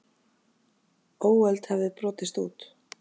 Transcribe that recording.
Óöld hafði brotist út.